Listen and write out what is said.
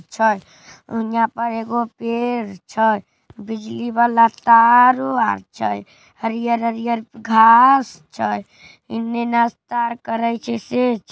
अच्छा यहाँ पर एगो पेड़ छै। बिजली वाला तारो आर छै। हरियर-हरियर घांस छै। इन्हे नास्ता करे से छे ।